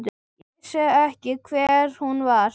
Ég vissi ekki hver hún var.